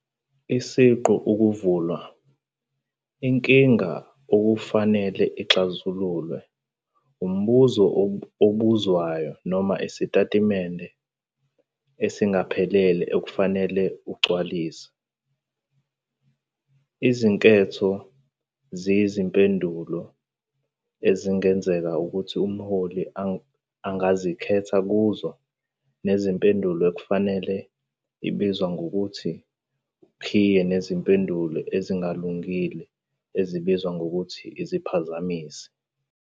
Isiqu ukuvulwa - inkinga okufanele ixazululwe, umbuzo obuzwayo, noma isitatimende esingaphelele okufanele ugcwaliswe. Izinketho ziyizimpendulo ezingenzeka ukuthi uMhloli angazikhetha kuzo, nempendulo efanele ebizwa ngokuthi ukhiye nezimpendulo ezingalungile ezibizwa ngokuthi iziphazamisi.